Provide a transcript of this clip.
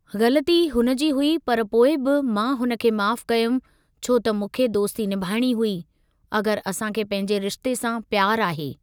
ग़लती हुन जी हुई पर पोइ बि मां हुन खे माफ़ कयुमि छो त मूंखे दोस्ती निभाइणी हुई अगर असां खे पंहिंजे रिश्ते सा प्यार आहे।